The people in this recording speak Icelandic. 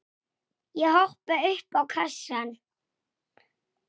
Aftur hjá Lúnu